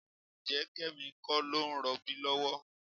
Ǹjẹ́ Kẹ́mi kọ́ ló ń rọbí lọ́wọ́?